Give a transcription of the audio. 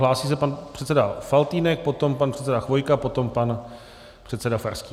Hlásí se pan předseda Faltýnek, potom pan předseda Chvojka, potom pan předseda Farský.